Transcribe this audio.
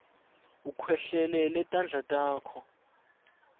ukhwehlelele tandla takho